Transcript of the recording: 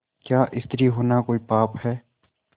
क्या स्त्री होना कोई पाप है